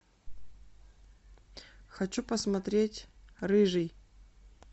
хочу посмотреть рыжий